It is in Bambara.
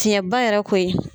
Tiɲɛba yɛrɛ koyi.